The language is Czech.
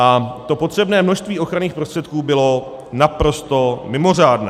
A to potřebné množství ochranných prostředků bylo naprosto mimořádné.